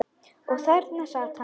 Og þarna sat hann.